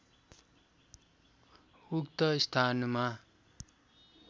उक्त स्थानमा